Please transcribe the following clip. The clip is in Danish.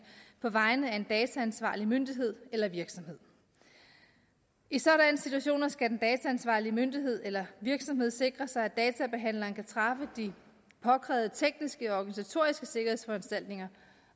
på vegne af en dataansvarlig myndighed eller virksomhed i sådanne situationer skal den dataansvarlige myndighed eller virksomhed sikre sig at databehandleren kan træffe de påkrævede tekniske og organisatoriske sikkerhedsforanstaltninger